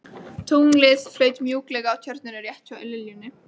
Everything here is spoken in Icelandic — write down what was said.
Tunglið flaut mjúklega á Tjörninni rétt hjá liljunni.